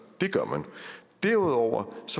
det gør man derudover